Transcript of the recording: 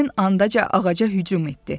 həmin andaca ağaca hücum etdi.